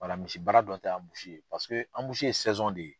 Misibaara tɛ ye paseke ye de ye.